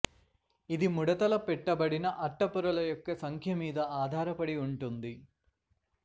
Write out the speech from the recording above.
ఇది ముడతలు పెట్టబడిన అట్ట పొరల యొక్క సంఖ్య మీద ఆధారపడి ఉంటుంది